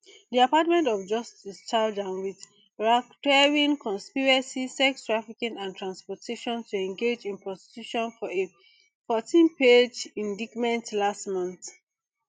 di department of justice charge am wit racketeering conspiracy sex trafficking and transportation to engage in prostitution for a fourteenpage indictment last month